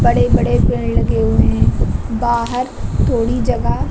बड़े बड़े पेड़ लगे हुए हैं बाहर थोड़ी जगह --